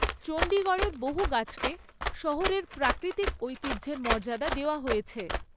চণ্ডীগড়ের বহু গাছকে শহরের প্রাকৃতিক ঐতিহ্যের মর্যাদা দেওয়া হয়েছে।